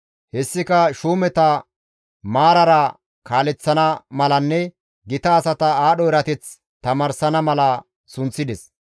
Hessika shuumeta maarara kaaleththana malanne gita asata aadho erateth tamaarsana mala sunththides.